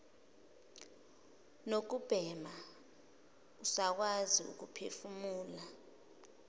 nokubhema usakwazi ukuphefumula